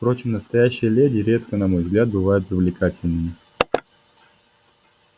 впрочем настоящие леди редко на мой взгляд бывают привлекательными